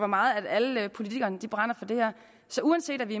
meget alle politikere brænder for det her så uanset at vi